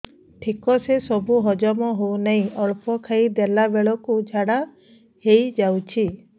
ଠିକସେ ସବୁ ହଜମ ହଉନାହିଁ ଅଳ୍ପ ଖାଇ ଦେଲା ବେଳ କୁ ଝାଡା ହେଇଯାଉଛି